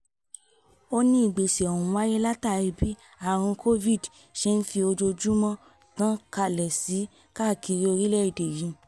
ó ní ìgbésẹ̀ ọ̀hún wáyé látàrí bí àrùn covid ṣe ń fi ojoojúmọ́ tàn kálẹ̀ sí i káàkiri orílẹ̀-èdè yìí